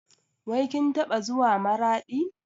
Wai kin taɓa zuwa Maraɗi?